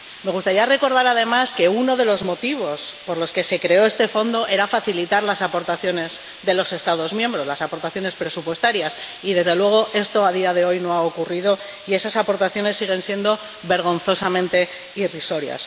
Me gustaría recordar, además, que uno de los motivos por los que se creó este fondo era facilitar las aportaciones de los Estados miembros, las aportaciones presupuestarias y desde luego, esto a día de hoy no ha ocurrido y esas aportaciones siguen siendo vergonzosamente irrisorias.